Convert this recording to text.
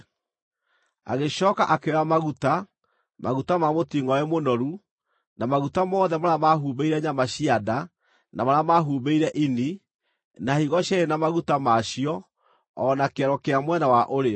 Agĩcooka akĩoya maguta, maguta ma mũtingʼoe mũnoru, na maguta mothe marĩa mahumbĩire nyama cia nda, na marĩa mahumbĩire ini, na higo cierĩ na maguta ma cio, o na kĩero kĩa mwena wa ũrĩo.